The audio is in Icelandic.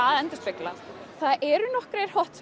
að endurspegla það eru nokkrir